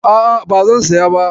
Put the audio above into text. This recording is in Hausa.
A'a ba zan siya ba.